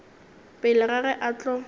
pele ga ge a tlo